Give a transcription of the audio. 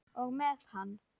Og með hann.